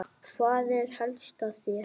Hvað er helst að hér?